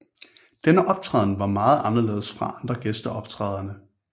Denne optræden var meget anderledes fra andre gæsteoptrædender